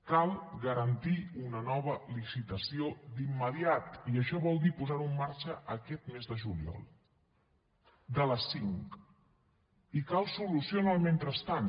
cal garantir una nova licitació d’immediat i això vol dir posar ho en marxa aquest mes de juliol de les cinc i cal solució en el mentrestant